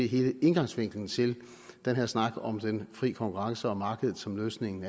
hele indgangsvinklen til den her snak om den fri konkurrence og markedet som løsningen